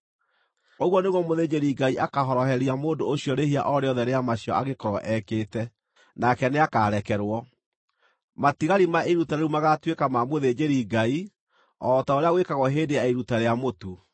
Ũguo nĩguo mũthĩnjĩri-Ngai akaahoroheria mũndũ ũcio rĩĩhia o rĩothe rĩa macio angĩkorwo ekĩte, nake nĩakarekerwo. Matigari ma iruta rĩu magaatuĩka ma mũthĩnjĩri-Ngai, o ta ũrĩa gwĩkagwo hĩndĩ ya iruta rĩa mũtu.’ ”